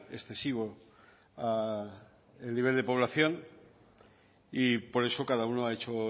excesivo a el nivel de población y por eso cada uno ha hecho